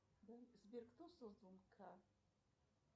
сбер кто создал